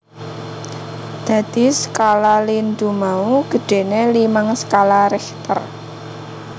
Dadi skala lindhu mau gedhéné limang skala Richter